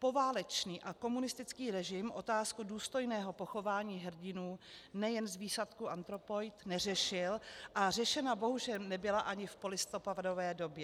Poválečný a komunistický režim otázku důstojného pochování hrdinů nejen z výsadku Anthropoid neřešil a řešena bohužel nebyla ani v polistopadové době.